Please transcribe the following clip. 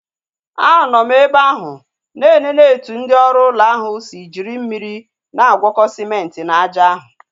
Anọ m ebe ahụ na enene etu ndị oru ụlọ ahu si jiri mmiri na-agwọko sịmenti na aja ahụ